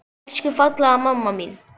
Elsku fallega mamma mín!